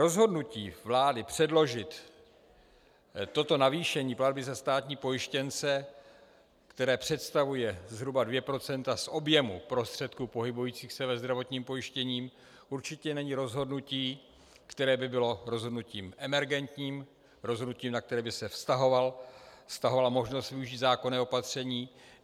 Rozhodnutí vlády předložit toto navýšení platby za státní pojištěnce, které představuje zhruba 2 % z objemu prostředků pohybujících se ve zdravotním pojištění, určitě není rozhodnutí, které by bylo rozhodnutím emergentním, rozhodnutím, na které by se vztahovala možnost využít zákonné opatření.